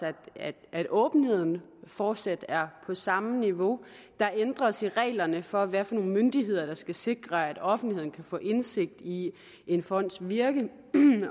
at åbenheden fortsat er på samme niveau der ændres i reglerne for hvad for nogle myndigheder der skal sikre at offentligheden kan få indsigt i en fonds virke